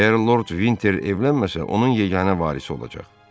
Əgər Lord Vinter evlənməsə, onun yeganə varisi olacaq.